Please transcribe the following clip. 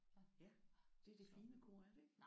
Ja det er det fine kor er det ikke?